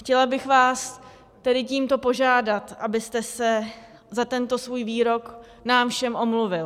Chtěla bych vás tedy tímto požádat, abyste se za tento svůj výrok nám všem omluvil.